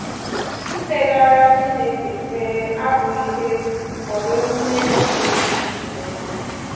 Ikpegara um Chineke ekpere abụghị ihe efu ma ọ bụ ememe na-enweghị isi ma ọlị